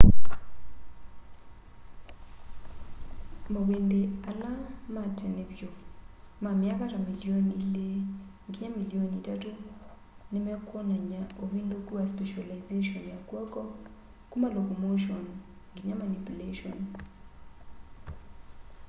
mawindi ala matene vyu ma myaka ta milioni ili nginya milioni itatu nimekwonany'a uvinduku wa specilization ya kw'oko kuma locomotion nginya manipulation